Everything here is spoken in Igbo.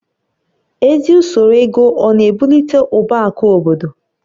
Ezi usoro ego ọ na-ebulite ụba akụ obodo?